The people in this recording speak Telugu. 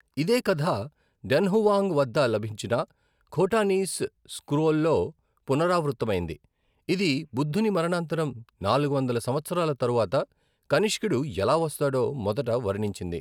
ఇదే కథ డన్హువాంగ్ వద్ద లభించిన ఖోటానీస్ స్క్రోల్లో పునరావృతమైంది, ఇది బుద్ధుని మరణానంతరం నాలుగు వందల సంవత్సరాల తరువాత కనిష్కుడు ఎలా వస్తాడో మొదట వర్ణించింది.